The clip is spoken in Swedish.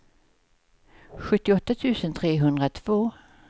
sjuttioåtta tusen trehundratvå